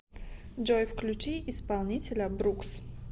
джой включи исполнителя брукс